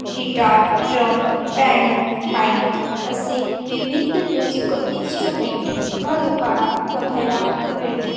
Guitar drum piano mic असे विविध musical instrument या दुकानात बघायला मिळते.